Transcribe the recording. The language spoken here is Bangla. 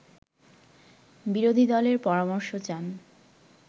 বিরোধীদলের পরামর্শ চান